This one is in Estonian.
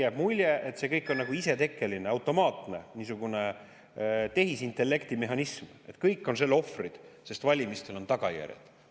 Jääb mulje, et see kõik on nagu isetekkeline, niisugune automaatne tehisintellekti mehhanism ja kõik on selle ohvrid, sest valimistel on tagajärjed.